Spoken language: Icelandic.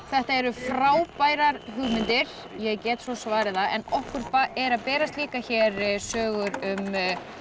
þetta eru frábærar hugmyndir ég get svo svarið það en okkur eru að berast líka hér sögur um